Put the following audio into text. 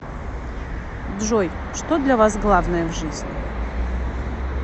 джой что для вас главное в жизни